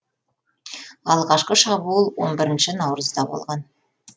алғашқы шабуыл он бірінші наурызда болған